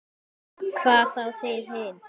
Hvað þá þið hin.